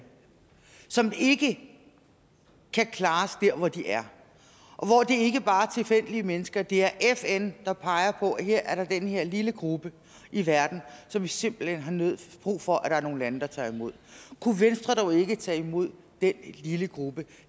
som ikke kan klares der hvor de er og hvor det ikke bare er tilfældige mennesker det er fn der peger på at her er der den her lille gruppe i verden som vi simpelt hen har brug for at der er nogle lande der tager imod kunne venstre dog ikke tage imod den lille gruppe